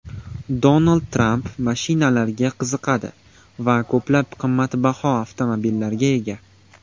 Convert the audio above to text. Donald Tramp mashinalarga qiziqadi va ko‘plab qimmatbaho avtomobillarga ega.